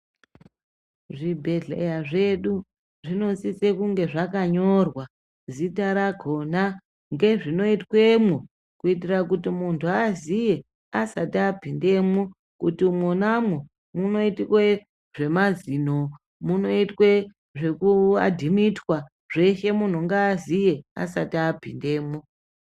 Zvibhedhleya zvedu zvinosise kunge zvakanyorwa zita rakhona ngezvinoitwemwo kuitira kuti muntu aziye asati apindemwo kuti mwonamwo munoitwe zvemazino, munoitwe zvekuadhimitwa zveshe munhu ngaziye asati apindemwo.